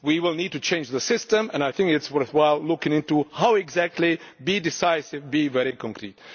We will need to change the system and I think it is worthwhile looking into how exactly to be decisive, and to be very concrete.